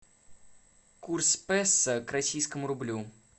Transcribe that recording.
курс песо к российскому рублю